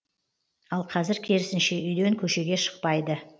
ал қазір керісінше үйден көшеге шықпайды